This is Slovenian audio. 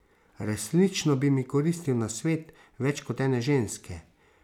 Resnično bi mi koristil nasvet več kot ene ženske.